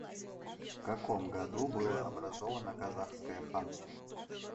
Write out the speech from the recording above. в каком году было образовано казахское ханство